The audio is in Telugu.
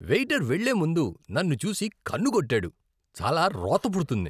వెయిటర్ వెళ్ళే ముందు నన్ను చూసి కన్ను కొట్టాడు. చాలా రోత పుడుతుంది.